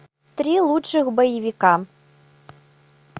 три лучших боевика